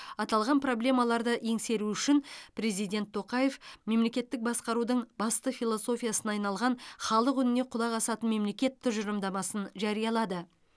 аталған проблемаларды еңсеру үшін президент тоқаев мемлекеттік басқарудың басты философиясына айналған халық үніне құлақ асатын мемлекет тұжырымдамасын жариялады